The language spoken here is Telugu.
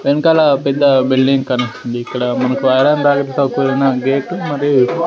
వెనకాల పెద్ద బిల్డింగ్ కనిపిస్తుంది ఇక్కడ మనకు ఐరన్ కూడిన గేటు మరియు--